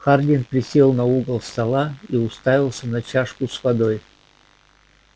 хардин присел на угол стола и уставился на чашку с водой